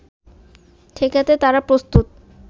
ঠেকাতে তারা প্রস্তুত